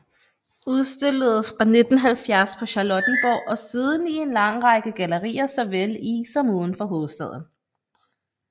Udstillede fra 1970 på Charlottenborg og siden i en lang række gallerier såvel i som uden for hovedstaden